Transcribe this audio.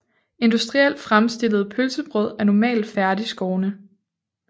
Industrielt fremstillede pølsebrød er normalt færdigskårne